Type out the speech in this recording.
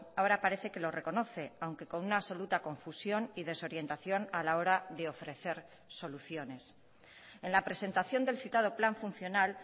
ahora parece que lo reconoce aunque con una absoluta confusión y desorientación a la hora de ofrecer soluciones en la presentación del citado plan funcional